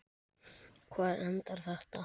Hvar endar þetta?